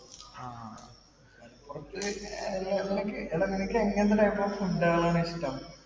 എടാ നിനക്ക് എങ്ങനത്തെ food ആണ് ഇഷ്ടം